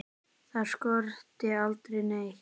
Þar skorti aldrei neitt.